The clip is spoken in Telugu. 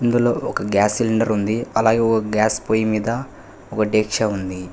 ఇందులో ఒక గ్యాస్ సిలిండర్ ఉంది అలాగే ఓ గ్యాస్ పొయ్యి మీద ఒక డెక్షా ఉంది.